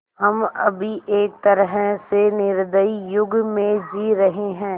हम अभी एक तरह से निर्दयी युग में जी रहे हैं